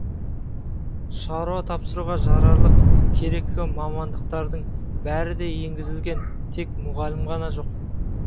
шаруа тапсыруға жарарлық керекті мамандықтардың бәрі де енгізілген тек мұғалім ғана жоқ